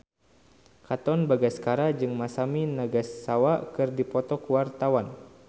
Katon Bagaskara jeung Masami Nagasawa keur dipoto ku wartawan